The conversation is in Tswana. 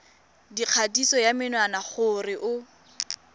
dikgatiso ya menwana gore o